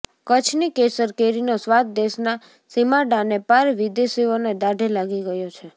કચ્છની કેસર કેરીનો સ્વાદ દેશના સિમાડાને પાર વિદેશીઓને દાઢે લાગી ગયો છે